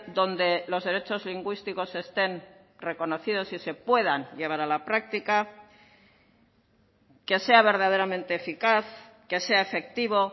donde los derechos lingüísticos estén reconocidos y se puedan llevar a la práctica que sea verdaderamente eficaz que sea efectivo